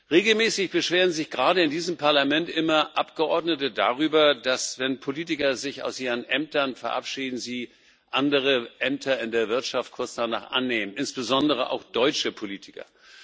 Regelmäßig beschweren sich gerade in diesem Parlament immer Abgeordnete darüber, dass, wenn Politiker sich aus ihren Ämtern verabschieden, sie kurz danach andere Ämter in der Wirtschaft annehmen, insbesondere auch deutsche Politiker.